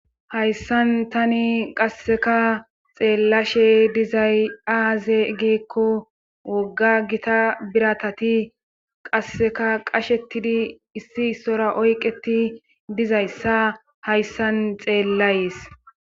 hayssan tani qasseka xeellashe dizay aaze geekko wogga gita biratati qasseka qashetidi issi issora oyqeti dizayssa hayssan xeellayees